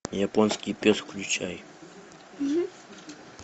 японский пес включай